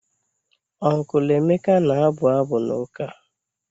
Uncle Emeka na-abụ abụ n'ụka.